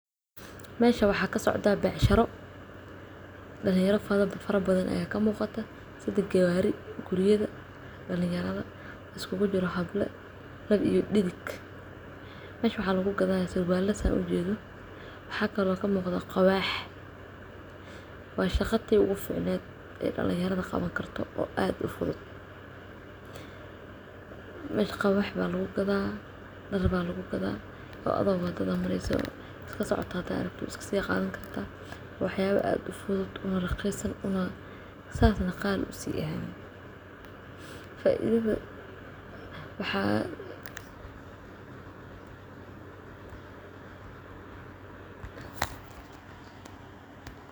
Meshan waxaa kasocdsaa beecshiro dhalinyara fara badan ayaa kamuuqata iyo gawaari guriyada dhalinyarada iskuugu jiraan hablo lab iyo dhidig mesha waxaa lagu gadanayaa surwaala sidaan mesha ooga jeedno waxaa kaloo kamuqda quwax waa shaqa tii ugu ficneet ee dhalinyarda qaban karto ee aad u fudud meesha quwaax ayaa lagu gadaa dhar baa lagu gadaa oo adigoo wadada mareeso iska socoto hadaa aragto waa iskasii qadan kartaa waxyaala aad ufudud una raqiisan saas nah qaal usii aheen waxaa